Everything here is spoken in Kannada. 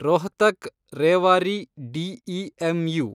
ರೋಹ್ತಕ್–ರೇವಾರಿ ಡಿಇಎಮ್‌ಯು